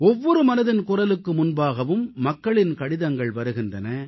ஒவ்வொரு மனதின் குரலுக்கு முன்பாகவும் மக்களின் கடிதங்கள் வருகின்றன